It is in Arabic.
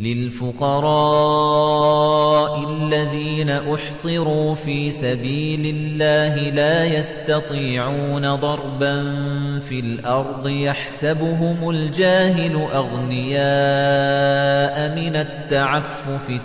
لِلْفُقَرَاءِ الَّذِينَ أُحْصِرُوا فِي سَبِيلِ اللَّهِ لَا يَسْتَطِيعُونَ ضَرْبًا فِي الْأَرْضِ يَحْسَبُهُمُ الْجَاهِلُ أَغْنِيَاءَ مِنَ التَّعَفُّفِ